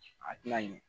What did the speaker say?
A tɛna ɲɛ